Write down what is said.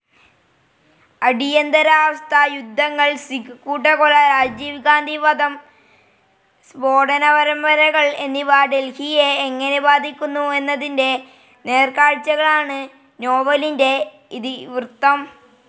അടിയന്തരാവസ്ഥ, യുദ്ധങ്ങൾ, സിഖ് കൂട്ടക്കൊല, രാജീവ്ഗാന്ധി വധം, സ്ഫോടനപരമ്പരകൾ എന്നിവ ഡെൽഹിയെ എങ്ങനെ ബാധിക്കുന്നു എന്നതിന്റെ നേർക്കാഴ്ചകളാണ് നോവലിന്റെ ഇതിവൃത്തം.